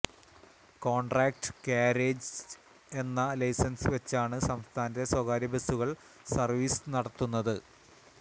contract carriage എന്ന licence വച്ചാണ് സംസ്ഥാനത്തെ സ്വകാര്യ ബസുകള് സര്വീസ് നടത്തുന്നത്